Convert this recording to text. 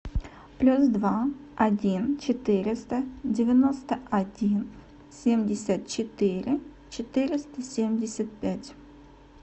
плюс два один четыреста девяносто один семьдесят четыре четыреста семьдесят пять